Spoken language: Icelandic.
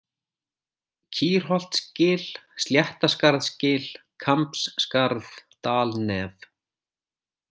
Kýrholtsgil, Sléttaskarðsgil, Kambsskarð, Dalnef